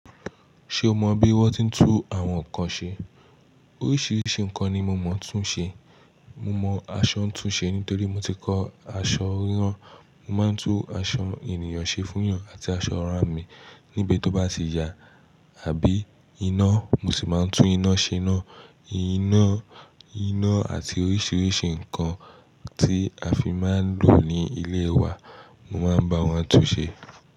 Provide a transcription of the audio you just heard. Ṣé o mọ bí wón ti ń tú àwọn nǹkan ṣe? Oríṣiríṣi nǹkan ni mo mọ̀ tún ṣe. Mo mọ aṣọ ńtún ṣe nítorí mo ti kọ́ aṣọ ríran. Mo máa ń tú aṣọ ènìyàn ṣe fún yàn àti aṣọ ara mi níbi tó bá ti ya. Àbí iná, mo sì máa ń tú iná ṣe iná. Iná, iná àti oríṣiríṣi nǹkan tí a fi máa ń lò ní ilé wa, mo máa ń bá wọn tún ṣe.